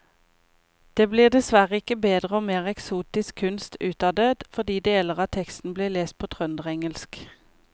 Det blir dessverre ikke bedre og mer eksotisk kunst ut av det fordi deler av teksten blir lest på trønderengelsk.